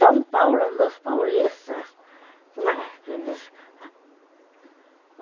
São Paulo é dos paulistas, não é?